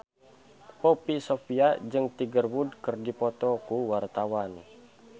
Poppy Sovia jeung Tiger Wood keur dipoto ku wartawan